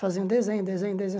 Fazendo desenho, desenho, desenho.